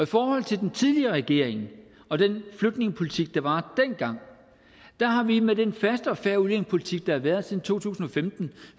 forhold til den tidligere regering og den flygtningepolitik der var dengang har vi med den faste og fair udlændingepolitik der har været siden to tusind og femten